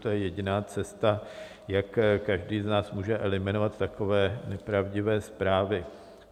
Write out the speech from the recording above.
To je jediná cesta, jak každý z nás může eliminovat takové nepravdivé zprávy.